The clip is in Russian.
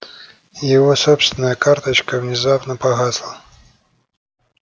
его собственная карточка внезапно погасла